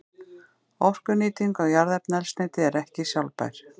Orkunýting á jarðefnaeldsneyti er ekki sjálfbær.